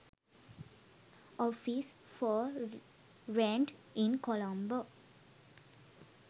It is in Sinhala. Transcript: office for rent in colombo